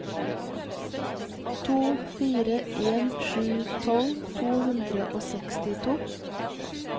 to fire en sju tolv to hundre og sekstito